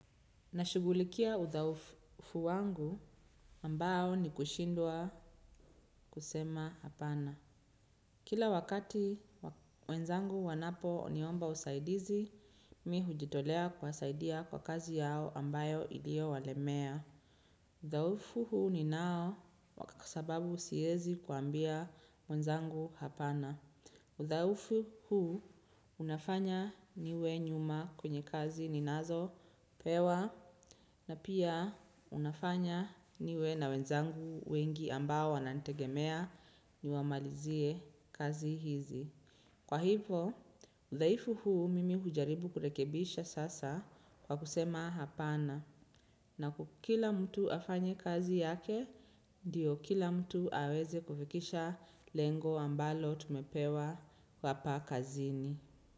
Nashughulikia udhaufu wangu ambao ni kushindwa kusema hapana. Kila wakati wenzangu wanapo niomba usaidizi, mi hujitolea kuwasaidia kwa kazi yao ambayo iliyo walemea. Udhaufu huu ninao kwa sababu siwezi kuambia wenzangu hapana. Udhaufu huu unafanya niwe nyuma kwenye kazi ninazo pewa na pia inafanya niwe na wenzangu wengi ambao wananitegemea niwamalizie kazi hizi. Kwa hivo, udhaifu huu mimi hujaribu kurekebisha sasa kwa kusema hapana na kukila mtu afanye kazi yake ndiyo kila mtu aweze kufikisha lengo ambalo tumepewa papakazini.